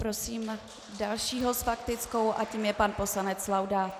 Prosím dalšího s faktickou a tím je pan poslanec Laudát.